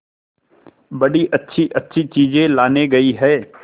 बड़ी अच्छीअच्छी चीजें लाने गई है